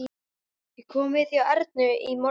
Ég kom við hjá Ernu í morgun.